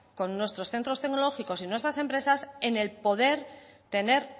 con nuestros centros tecnológicos y nuestras empresas en el poder tener